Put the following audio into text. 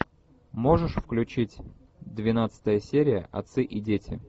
можешь включить двенадцатая серия отцы и дети